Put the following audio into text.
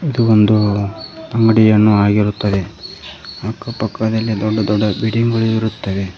ಇದು ಒಂದು ಅಂಗಡಿಯನ್ನು ಆಗಿರುತ್ತದೆ ಅಕ್ಕ ಪಕ್ಕದಲ್ಲಿ ದೊಡ್ಡ ದೊಡ್ಡ ಬಿಲ್ಡಿಂಗ್ ಗಳು ಇರುತ್ತದೆ.